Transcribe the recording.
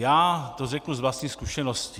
Já to řeknu z vlastní zkušenosti.